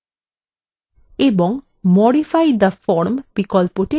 এবং modify the form বিকল্পটি click করুন